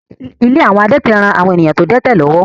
Ilé àwọn adẹ́tẹ̀ ń ran àwọn èèyàn tó dẹ́tẹ̀ lọ́wọ́